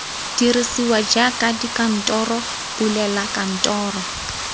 dirisiwa jaaka dikantoro bulela kantoro